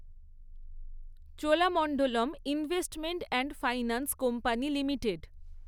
Cholamandalam investment and finance company limited